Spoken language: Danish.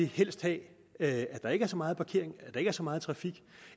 helst have at der ikke er så meget parkering at der ikke er så meget trafik